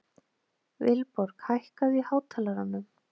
Vilborg, hækkaðu í hátalaranum.